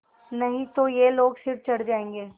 नहीं तो ये लोग सिर चढ़ जाऐंगे